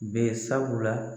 Be sabula.